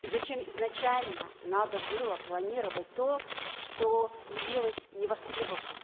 и зачем изначально надо было планировать то что явилось невостребованным